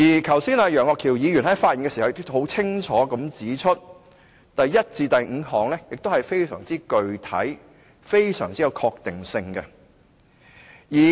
剛才楊岳橋議員在發言時也清楚地指出，第一項至第五項是非常具體及有確定性的。